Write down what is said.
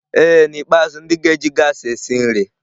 Ee n'ikpeazụ, ndị ga-eji gaasị esi nri.